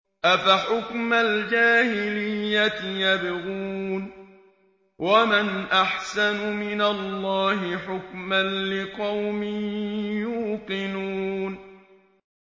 أَفَحُكْمَ الْجَاهِلِيَّةِ يَبْغُونَ ۚ وَمَنْ أَحْسَنُ مِنَ اللَّهِ حُكْمًا لِّقَوْمٍ يُوقِنُونَ